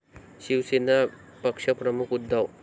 शिवसेना पक्षप्रमुख उद्धव